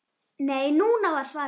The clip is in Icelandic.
Nei, núna! var svarið.